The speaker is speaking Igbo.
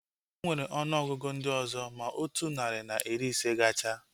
Enwere ọnụ ọgụgụ ndị ọzọ ma otu narị na iri ise gachaa